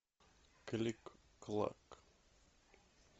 кликклак